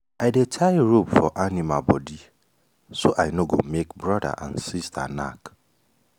i dey tie rope for animal body so i no go make brother and sister knack.